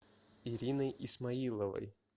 ириной исмаиловой